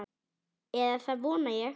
Eða það vona ég,